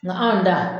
Nka anw ta